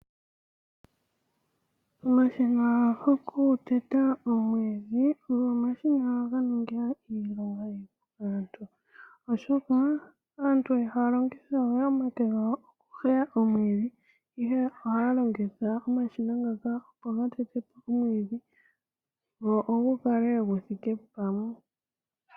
Omashina gokuteta omwiidhi ogo omashina ngoka ga ninga iilonga iipu. oshoka aantu ihaa ya longitha we omake gawo okuheya omwiidhi ,ihe ohaa longitha omashina ngaka opo ga tete po omwiidhi gwo gu kale gu thike pamwe.